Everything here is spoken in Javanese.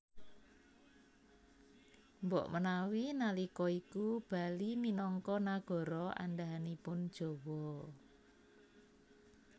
Mbok menawi nalika iku Bali minangka nagara andhahanipun Jawa